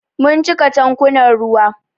Mun cika tankunan ruwa.